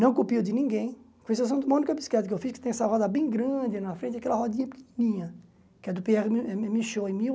Não copio de ninguém, com exceção de uma única bicicleta que eu fiz, que tem essa roda bem grande na frente, aquela rodinha pequenininha, que é do Pierre mi mi Michaud eh mil